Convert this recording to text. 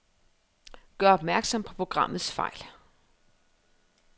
Gør opmærksom på programmets fejl.